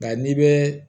Nka n'i bɛ